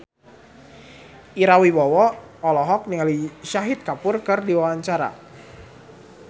Ira Wibowo olohok ningali Shahid Kapoor keur diwawancara